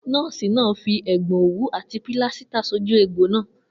Nó̩ò̩sì náà fi è̩gbo̩n òwú àti pílásítà sójú egbò náà